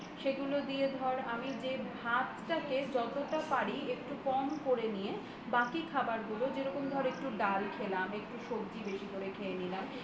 সেগুলো দিয়ে ধর আমি যে ভাতটাকে যতটা পারি একটু কম করে নিয়ে বাকি খাবারগুলো যেরকম ধর একটু ডাল খেলাম একটু সবজি বেশি করে খেয়ে নিলাম